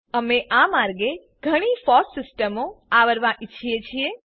અમે આ માર્ગે ઘણી ફોસ્સ સિસ્ટમો આવરવા ઈચ્છીએ છીએ